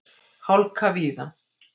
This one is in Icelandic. Hálka víða